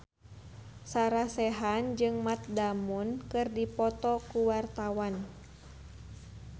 Sarah Sechan jeung Matt Damon keur dipoto ku wartawan